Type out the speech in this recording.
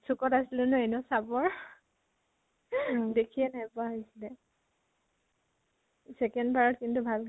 চুকত আছিলো ন, এনেও চাপৰ দেখিয়ে নোপোৱা হৈছিলে। second বাৰ ত কিন্তু ভালকে